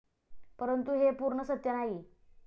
परंतु हे पूर्ण सत्य नाही.